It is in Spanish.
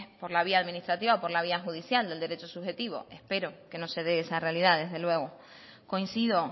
por la vía administrativa por la vía judicial del derecho subjetivo espero que no se dé esa realidad desde luego coincido